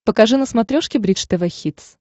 покажи на смотрешке бридж тв хитс